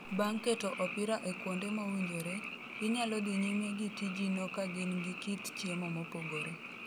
Bang' keto opira e kuonde mowinjore, inyalo dhi nyime gi tijino ka gin gi kit chiemo mopogore.